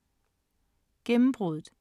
Gennembruddet